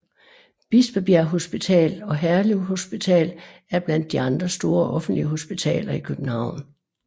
Bispebjerg Hospital og Herlev Hospital er blandt de andre store offentlige hospitaler i København